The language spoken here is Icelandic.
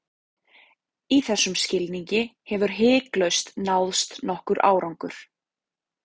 Í þessum skilningi hefur hiklaust náðst nokkur árangur.